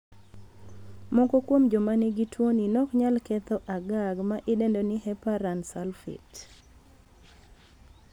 Moko kuom joma nigi tuoni nok nyal ketho a GAG ma idendo ni heparan sulfate.